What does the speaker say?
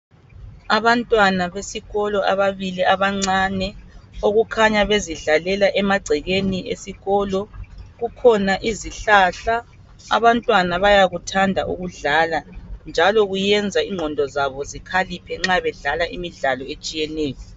Abantwana besikolo ababili abancane okukhanya bezidlalela emagcekeni esikolo, kukhona izihlahla. Abantwana bayakuthanda ukudlala njalo kuyenza inqondo zabo zikhaliphe nxa bedlala imidlalo etshiyeneyo.